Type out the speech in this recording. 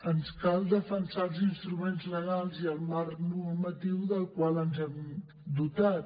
ens cal defensar els instruments legals i el marc normatiu del qual ens hem dotat